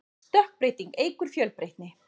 stökkbreyting eykur fjölbreytni